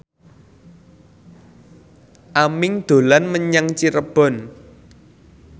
Aming dolan menyang Cirebon